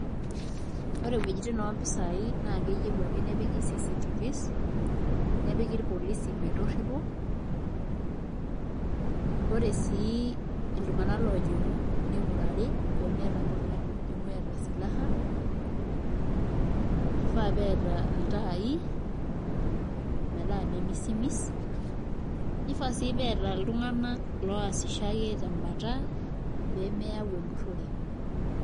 Ore ewuejitin ompisaai naa keyieu ake nepiki CCTVs nepiki irpolisi metorripo ore sii iltunganak oojing'u ning'urari pee metii ake olojing'u eeta silaha kifaa pee etii iltaai metaa memisimis nifaa sii pee eeta iltunganak oosisho ake tembata pee meyau empurrore.